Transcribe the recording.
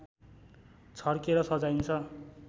छर्केर सजाइन्छ